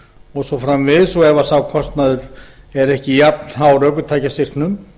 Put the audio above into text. og svo framvegis og ef sá kostnaður er ekki jafnhár ökutækjastyrknum